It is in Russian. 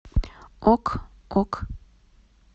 ок ок